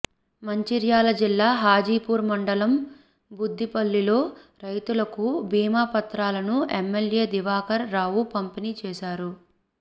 మంచిర్యాల జిల్లా హాజీపూర్ మండలం బుద్దిపల్లిలో రైతులకు బీమా పత్రాలను ఎమ్మెల్యే దివాకర్ రావు పంపిణీ చేశారు